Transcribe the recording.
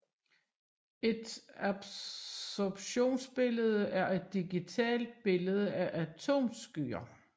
Et absorptionsbillede er et digitalt billede af atomskyer